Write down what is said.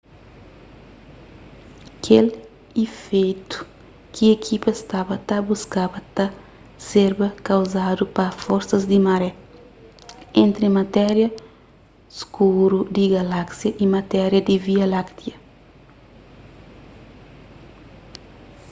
kel ifeitu ki ekipa staba ta buskaba ta serba kauzadu pa forsas di maré entri matéria skuru di galáksia y matéria di via láktia